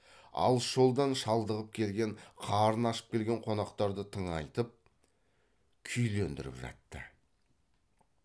алыс жолдан шалдығып келген қарыны ашып келген қонақтарды тыңайтып күйлендіріп жатты